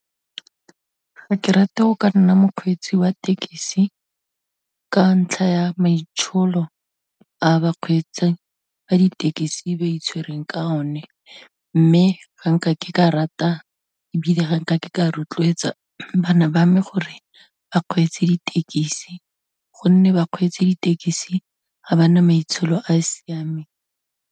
Ga ke rate go ka nna mokgweetsi wa thekisi ka ntlha ya maitsholo a bakgweetsi ba ditekisi ba itshwereng ka o ne, mme ga nka ke ka rata, ebile ga nka ke ka rotloetsa bana ba mme gore ba kgweetse ditekisi gonne bakgweetsa ditekesi ga ba na maitsholo a a siameng.